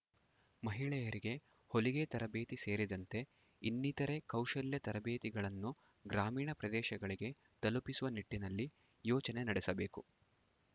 ಮಹಿಳೆಯರಿಗೆ ಹೊಲಿಗೆ ತರಬೇತಿ ಸೇರಿದಂತೆ ಇನ್ನಿತರೆ ಕೌಶಲ್ಯ ತರಬೇತಿಗಳನ್ನು ಗ್ರಾಮೀಣ ಪ್ರದೇಶಗಳಿಗೆ ತಲುಪಿಸುವ ನಿಟ್ಟಿನಲ್ಲಿ ಯೋಚನೆ ನಡೆಸಬೇಕು